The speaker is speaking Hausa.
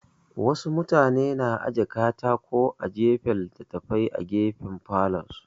Wa su mutane na aje katakon aje littafai a gefe a falon su